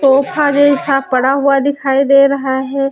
Sofa जईसा पड़ा हुआ दिखाई दे रहा है।